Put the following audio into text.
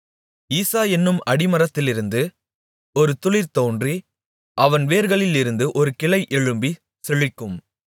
ஈசாயென்னும் அடிமரத்திலிருந்து ஒரு துளிர் தோன்றி அவன் வேர்களிலிருந்து ஒரு கிளை எழும்பிச் செழிக்கும்